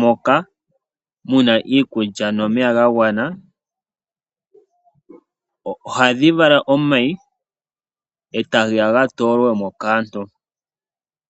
moka muna iikulya nomeya ga gwana, ohadhi vala omayi eta geya ga toolwemo kaantu.